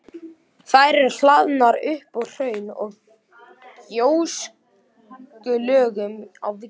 Þær eru hlaðnar upp úr hraun- og gjóskulögum á víxl.